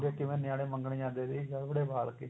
ਕਈ ਵਾਰ ਨਿਆਣੇ ਮੰਗਣ ਜਾਂਦੇ ਸੀ ਗੜਵੜੇ ਵਾਲ ਕੇ